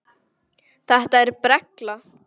Þetta er brella.